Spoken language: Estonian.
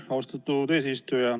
Aitäh, austatud eesistuja!